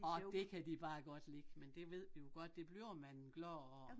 Og det kan de bare godt lide med det ved vi jo godt det bliver man glad af